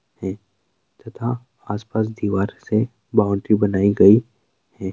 तथा आस-पास दीवार से बाउंड्री बनाई गई है। एक